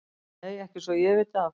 Nei ekki svo að ég viti af.